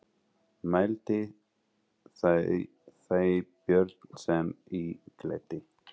Mælti þá Björn sem í gletti: